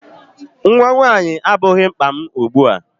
Nnwa nwaanyị abụghị mkpa m ugbu a.